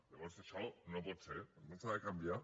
llavors això no pot ser doncs s’ha de canviar